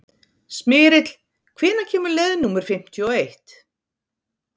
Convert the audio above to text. Smyrill, hvenær kemur leið númer fimmtíu og eitt?